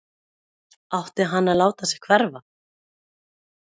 Átti hann að láta sig hverfa??